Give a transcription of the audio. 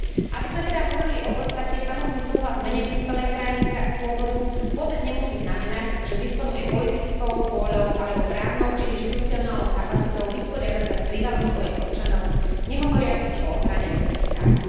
Aby sme teda hovorili o podstate samotný súhlas menej vyspelej krajiny pôvodu vôbec nemusí znamenať, že disponuje politickou vôľou alebo právnou či inštitucionálnou kapacitou vysporiadať sa s prívalom svojich občanov, nehovoriac už o ochrane ľudských práv.